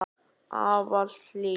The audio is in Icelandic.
Ávallt hlý.